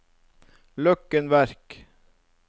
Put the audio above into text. Løkken Verk